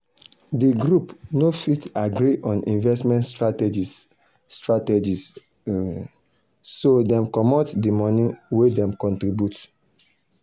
d group no fit agree on investment strategies strategies so dem comot dir money wen dem contribute.